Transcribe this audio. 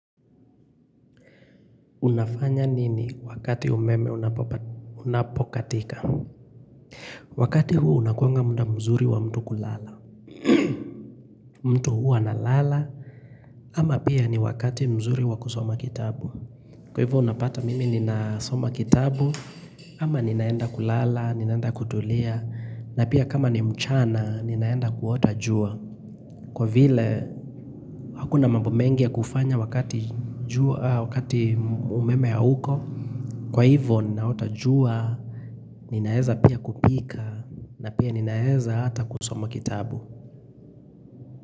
Unafanya nini wakati umeme unapokatika Wakati huu unakuanga muda mzuri wa mtu kulala mtu huwa analala ama pia ni wakati mzuri wa kusoma kitabu kwa hivyo unapata mimi ninasoma kitabu ama ninaenda kulala, ninaenda kutulia na pia kama ni mchana, ninaenda kuota jua kwa vile, hakuna mambo mengi ya kufanya wakati jua wakati umeme hauko kwa hivyo ninaota jua ninaeza pia kupika na pia ninaeza hata kusoma kitabu.